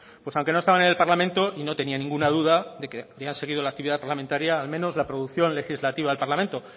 aunque no estaban en el parlamento y no tenía ninguna duda de que de haber seguido la actividad parlamentaria al menos la producción legislativa del parlamento